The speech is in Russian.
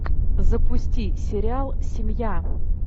запусти сериал семья